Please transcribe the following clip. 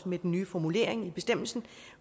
med den nye formulering i bestemmelsen